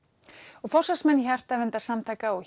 og forsvarsmenn hjartaverndarsamtaka og